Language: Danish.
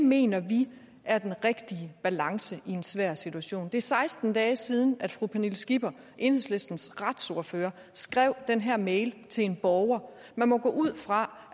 mener vi er den rigtige balance i en svær situation det er seksten dage siden at fru pernille skipper enhedslistens retsordfører skrev den her mail til en borger man må gå ud fra